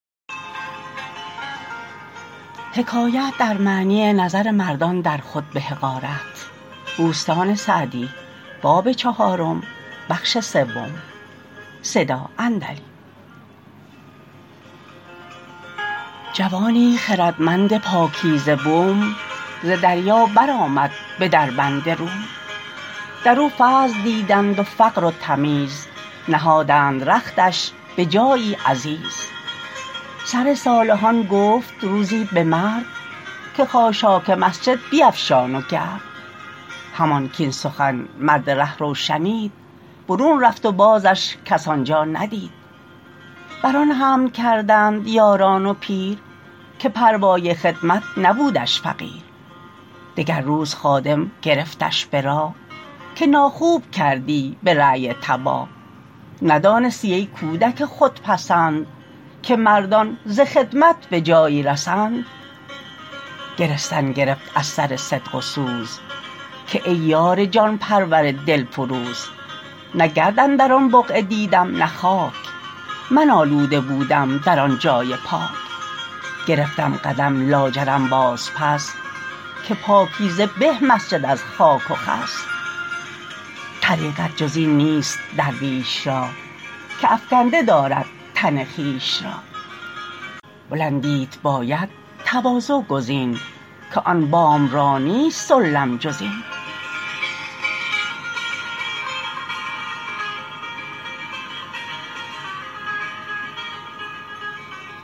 جوانی خردمند پاکیزه بوم ز دریا بر آمد به دربند روم در او فضل دیدند و فقر و تمیز نهادند رختش به جایی عزیز سر صالحان گفت روزی به مرد که خاشاک مسجد بیفشان و گرد همان کاین سخن مرد رهرو شنید برون رفت و بازش کس آنجا ندید بر آن حمل کردند یاران و پیر که پروای خدمت نبودش فقیر دگر روز خادم گرفتش به راه که ناخوب کردی به رای تباه ندانستی ای کودک خودپسند که مردان ز خدمت به جایی رسند گرستن گرفت از سر صدق و سوز که ای یار جان پرور دلفروز نه گرد اندر آن بقعه دیدم نه خاک من آلوده بودم در آن جای پاک گرفتم قدم لاجرم باز پس که پاکیزه به مسجد از خاک و خس طریقت جز این نیست درویش را که افکنده دارد تن خویش را بلندیت باید تواضع گزین که آن بام را نیست سلم جز این